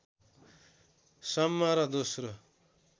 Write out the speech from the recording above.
सम्म र दोस्रो